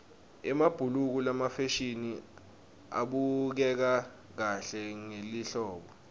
emabhuluko lamafisha abukeka kahle ngelihlobo